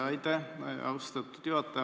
Aitäh, austatud juhataja!